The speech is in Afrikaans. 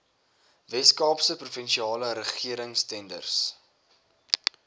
weskaapse provinsiale regeringstenders